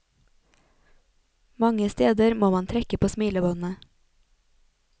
Mange steder må man trekke på smilebåndet.